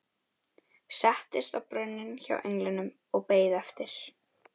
Settist á brunninn hjá englinum og beið eftir